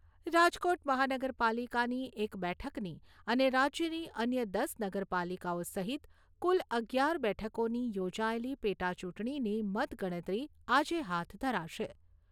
રાજકોટ મહાનગરપાલિકાની એક બેઠકની અને રાજ્યની અન્ય દસ નગરપાલિકાઓ સહિત કુલ અગિયાર બેઠકોની યોજાયેલી પેટાચૂંટણીની મતગણતરી આજે હાથ ધરાશે.